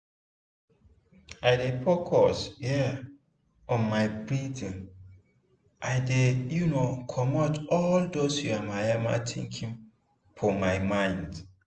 i dey focus um on my breathing e dey um comot all dos yamamaya thinking for my mind.